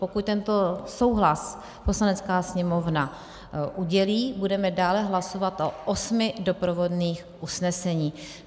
Pokud tento souhlas Poslanecká sněmovna udělí, budeme dále hlasovat o osmi doprovodných usneseních.